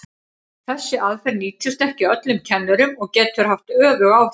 Þessi aðferð nýtist ekki öllum kennurum og getur haft öfug áhrif.